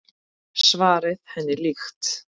Svarið henni líkt.